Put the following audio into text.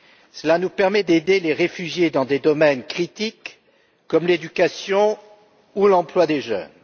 Cela nous permet d'aider les réfugiés dans des domaines critiques, comme l'éducation ou l'emploi des jeunes.